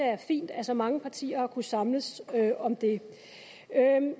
er fint at så mange partier har kunnet samles om det